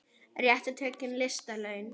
Réttu tökin lista laun.